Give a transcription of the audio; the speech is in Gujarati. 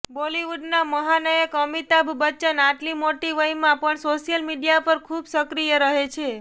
બોલિવુડના મહાનાયક અમિતાભ બચ્ચન આટલી મોટી વયમાં પણ સોશિયલ મિડિયા પર ખુબ સક્રિય રહે છે